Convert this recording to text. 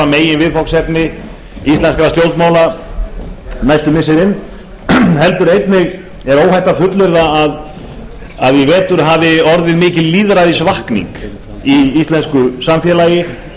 meginviðfangsefni íslenskra stjórnmála næstu missirin heldur er líka óhætt að fullyrða að í vetur hafi orðið mikil lýðræðisvakning í íslensku samfélagi